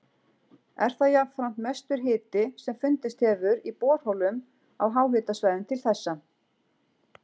Er það jafnframt mestur hiti sem fundist hefur í borholum á háhitasvæðum til þessa.